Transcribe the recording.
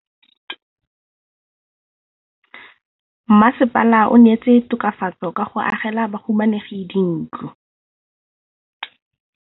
Mmasepala o neetse tokafatsô ka go agela bahumanegi dintlo.